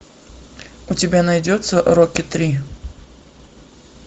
у тебя найдется рокки три